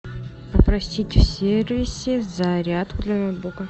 попросите в сервисе зарядку для ноутбука